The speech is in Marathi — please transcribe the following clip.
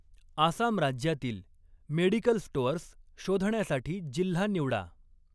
आसाम राज्यातील मेडिकल स्टोअर्स शोधण्यासाठी जिल्हा निवडा.